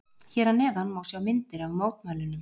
Hér að neðan má sjá myndir af mótmælunum.